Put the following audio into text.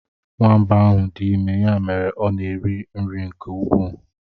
Nwamba ahụ dị ime, ya mere ọ na eri nri nke ukwuu.